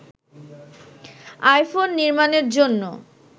iPhone নির্মাণের জন্য